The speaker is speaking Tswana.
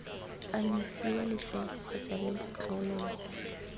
anyisiwa letsele kgotsa lebotlolo lo